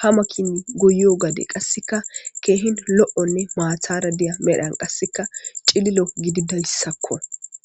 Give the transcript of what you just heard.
ha makin goyio gade qasika kehi lo'nne mathara medhan qaseka cililo gididayisakko.